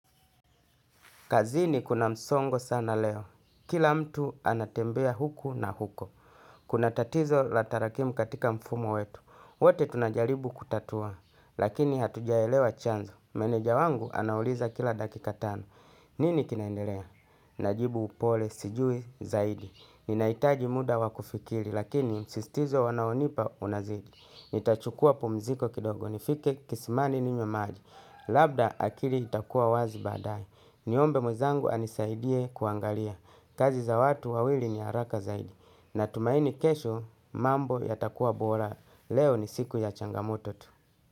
Kazini kuna msongo sana leo. Kila mtu anatembea huku na huko. Kuna tatizo la tarakimu katika mfumo wetu. Wote tunajaribu kutatua. Lakini hatujaelewa chanzo. Meneja wangu anauliza kila dakika tano. Nini kinaendelea? Najibu upole, sijui, zaidi. Ninahitaji muda wa kufikiri. Lakini msisitizo wanaonipa unazidi. Nitachukua pumziko kidogo. Nifike kisimani ninywe maji. Labda akili itakuwa wazi baadae. Niombe mwenzangu anisaidie kuangalia kazi za watu wawili ni haraka zaidi. Natumaini kesho mambo yatakua bora leo ni siku ya changamoto tu.